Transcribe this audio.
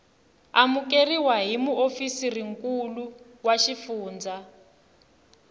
amukeriwa hi muofisirinkulu wa xifundzha